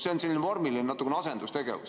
See on selline vormiline, natuke nagu asendustegevus.